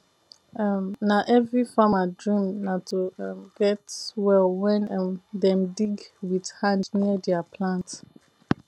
um na every farmer dream na to um get well wen um dem dig wit hand near dier plant